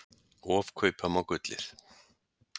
Ofkaupa má gullið.